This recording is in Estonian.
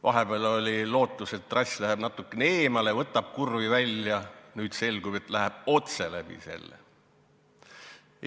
Vahepeal oli lootust, et trass tehakse natukene eemale, võtab kurvi välja, aga nüüd selgub, et läheb otse läbi maja.